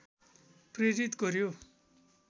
प्रेरित गर्‍यो